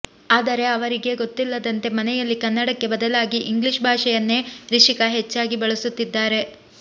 ಆದರೆ ಅವರಿಗೇ ಗೊತ್ತಿಲ್ಲದಂತೆ ಮನೆಯಲ್ಲಿ ಕನ್ನಡಕ್ಕೆ ಬದಲಾಗಿ ಇಂಗ್ಲಿಷ್ ಭಾಷೆಯನ್ನೇ ರಿಷಿಕಾ ಹೆಚ್ಚಾಗಿ ಬಳಸುತ್ತಿದ್ದಾರೆ